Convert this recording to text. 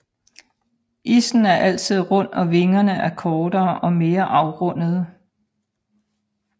Issen er altid rund og vingerne er kortere og mere afrundede